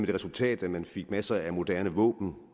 det resultat at man fik masser af moderne våben og